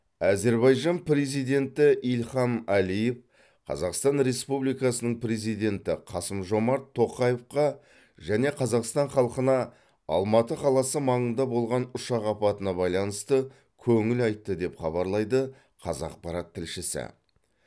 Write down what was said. әзербайжан президенті ильхам әлиев қазақстан республикасының президенті қасым жомарт тоқаевқа және қазақстан халқына алматы қаласы маңында болған ұшақ апатына байланысты көңіл айтты деп хабарлайды қазақпарат тілшісі